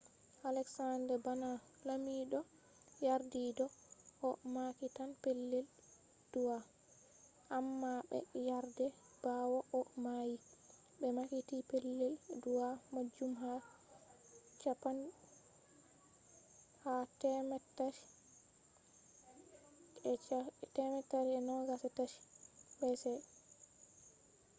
alexander bana lamiɗo yardi do o mahitan pellel du'a amma be yardai. bawo o mayi be mahiti pellel du’a majum ha 323 bce